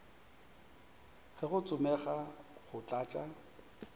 ge go tsomega go tlatša